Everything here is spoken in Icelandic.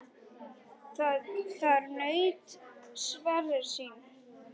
Þar naut Sverrir sín.